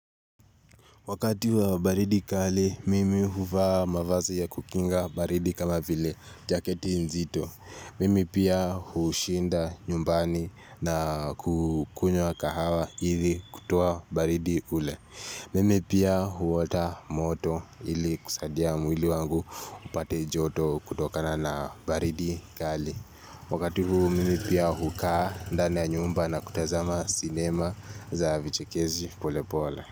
Wakati wa baridi kali, mimi huvaa mavazi ya kukinga baridi kama vile jaketi nzito. Mimi pia hushinda nyumbani na kukunywa kahawa ili kutoa baridi ule. Mimi pia huota moto ili kusaidia mwili wangu upate joto kutokana na baridi kali. Wakati huu mimi pia hukaa ndani ya nyumba na kutazama sinema za vichekeshi polepole.